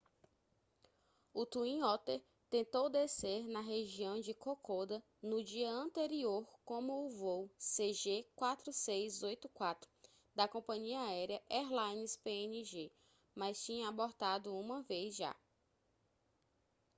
o twin otter tentou descer na região de kokoda no dia anterior como o voo cg4684 da compania aérea airlines png mas tinha abortado uma vez já